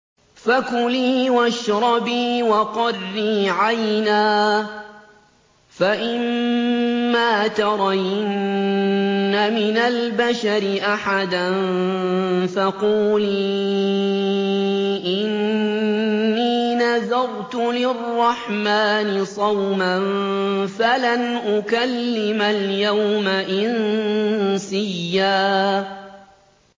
فَكُلِي وَاشْرَبِي وَقَرِّي عَيْنًا ۖ فَإِمَّا تَرَيِنَّ مِنَ الْبَشَرِ أَحَدًا فَقُولِي إِنِّي نَذَرْتُ لِلرَّحْمَٰنِ صَوْمًا فَلَنْ أُكَلِّمَ الْيَوْمَ إِنسِيًّا